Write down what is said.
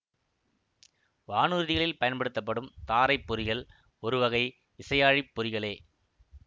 வானூர்திகளில் பயன்படுத்தப்படும் தாரை பொறிகள் ஒருவகை விசையாழிப் பொறிகளே